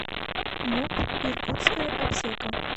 муп иркутская аптека